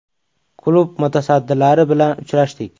Klub mutasaddilari bilan uchrashdik.